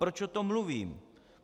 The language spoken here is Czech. Proč o tom mluvím?